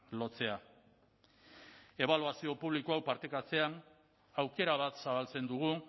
lotzea ebaluazio publiko hau partekatzean aukera bat zabaltzen dugu